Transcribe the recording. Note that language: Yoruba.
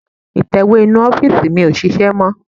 Ìtẹ̀wé inú ọ́fìsì mi ò ṣiṣẹ́ mọ́